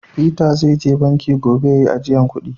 " Peter" zai je banki gobe ya yi ajiyan kudi.